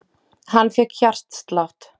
Hann fékk hjartslátt.